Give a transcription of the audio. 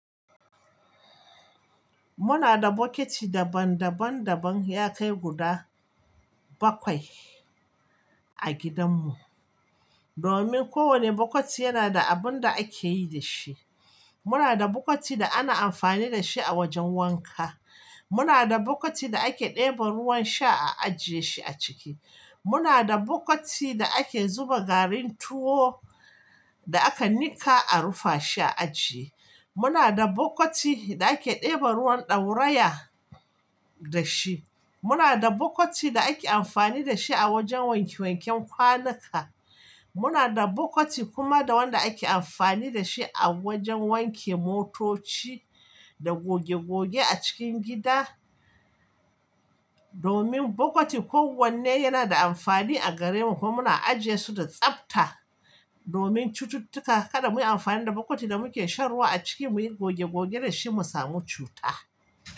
Muna da bukiti daban daban daban ya kai guda bakwai a gidan mu. Domin kowane bukati yana da abinda akeyi da shi. Muna da bukati da ana amfani da shi a wajen wanka. Muna da bukiti da ake ɗeba ruwan sha a ajiye shi a ciki. Muna da bukiti da ake zuba garin tuwo da aka nika a rufa shi a ajiye. Muna da bukiti da ake ɗeba ruwan ɗauraya da shi. Muna da bukati da ake amfani da shi a wajen wanke wanken kwanuka. Muna da bukiti kuma da wanda ake amfani da shi a wajen wanke motoci da goge goge a cikin gida. Domin bukati kowanne yana da amfani a gare mu kuma muna ajiye su da tsafta domin cututtuka kada muyi amfani da bukati da muke shan ruwa a ciki muyi goge goge da shi mu samu cuta.